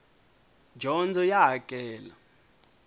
dyondzo ya hakela